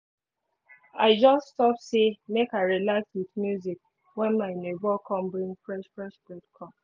i just stop say make i relax with music when my neighbor come bring fresh fresh bread come